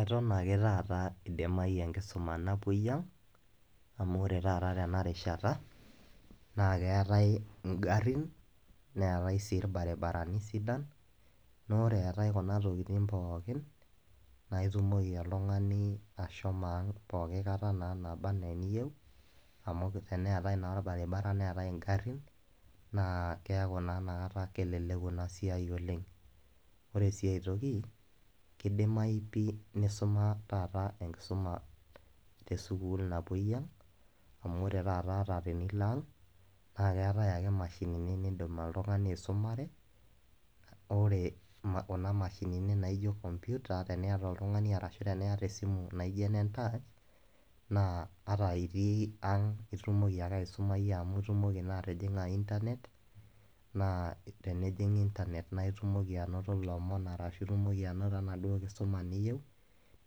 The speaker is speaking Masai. Eton ake taata eidimayu enkisuma napuoi aang', amu ore taata tena rishata naa keatai ingarin, neatai sii ilbaribarani sidain. Naa ore eatai Kuna tokitin pookin, naa itumoki oltung'ani ashomo aang' pooki kata naa nabaa ana eniyou, teneatai naa olbaribara neatai ingarin, naa keaku naa Ina kata keleleku Ina siai oleng'. Ore sii ai toki, keidimayu pii neisuma taata enkisuma te sukuul napuoi aang' amu ore taa taata tenilo ang' naa keatai ake imashinini niindim oltung'ani aisumare, ore Kuna mashinini naijo kompyuta teneyiolo oltung'ani aisumare ashu teniata esimu naijo enentach naa ata itii ang' naa itumoki naa atijing'a internet naa tenejing' internet naa nitumoki ainoto enaduo kisuma niyou,